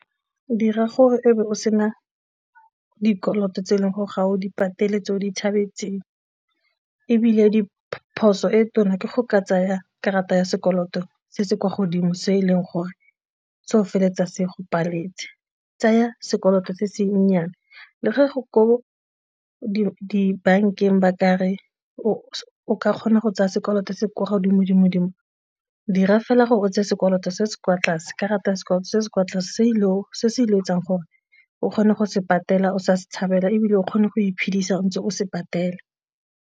Dira gore e be o sena dikoloto tse e leng gore ga o di patele, tse o di tshabetseng ebile e diphoso e tona ke go ka tsaya karata ya sekoloto se se kwa godimo se e leng gore se o feleletsa se go pateletsa tsaya sekoloto se se nnyane le ga go ko dibankeng ba ka re o ka kgona go tsaya sekoloto se ko godimo-dimo dira fela gore o tseye sekoloto se se kwa tlase, karata ya sekoloto se se kwa tlase se se ile go etsang gore o kgone go se patela o sa se tshabela ebile o kgone go iphedisa ntse o se patela.